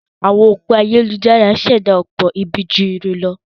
Àwọn òpó ayélujára ń ṣẹ̀dá ọ̀pọ̀ ibi ju ire lọ.